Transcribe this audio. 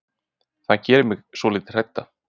Það gerir mig svolítið hrædda.